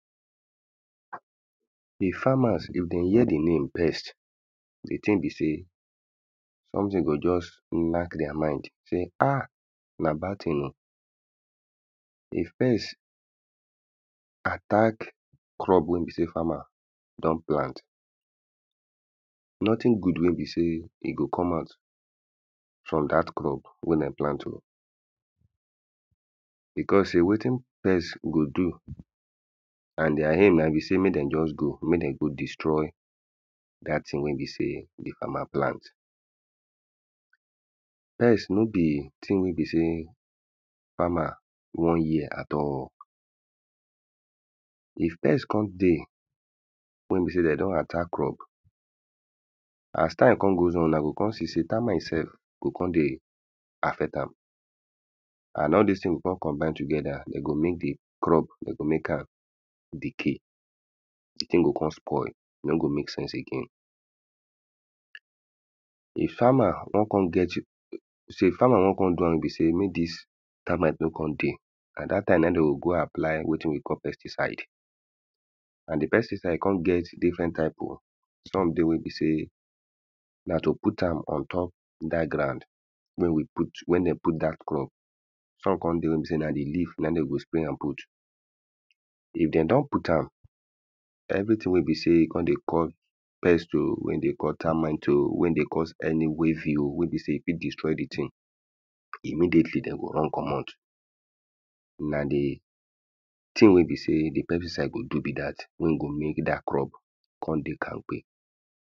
The farmers if de hear the name pest the thing be sey something go just knack their mind sey ha! Na bad thing o. If pest attack crop wey be sey farmer don plant. Nothing good wey be sey, e go come out from dat crop wey dem plant[ oh]. Because sey wetin pest go do and their aim na im be sey mey de just go. Mey de go destroy dat thing wey be sey the farmer plant. Pest no be thing wey be sey farmer wan hear at all. If best con dey, wey be sey de don attack crop as time con goes on una go con see sey termite self go con dey affect am. And all dis thing go con combine together. De go make the crop, de go make am decay. decay go con spoil. E no go make sense again If farmer wan con get er so if farmer wan con do am wey be sey make dis termite no con dey, na dat time na im de oh go apply wetin we call pesticide. And the pesticide ccon get diffrent type oh. Some dey wey be sey na to put am ontop dat ground wey we put where dem put dat crop. Some con dey wey be sey na leaf na im de go spray am put. If de don put am, everything wey be sey con dey cause pest o. Wey dey cause termite o, wey dey cause any waving o, wey be sey e fit destroy the thing e no dey fit. De go run comot. Na the thing wey be sey the pesticide go do be dat. Wey e go make dat crop con dey kankpe.